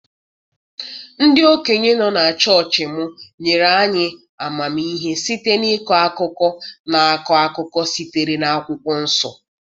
Ndị okenye nọ na chọọchị m nyere anyị amamihe site n'ịkọ akụkọ na-akọ akụkọ sitere na okwukwo.